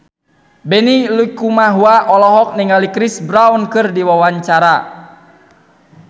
Benny Likumahua olohok ningali Chris Brown keur diwawancara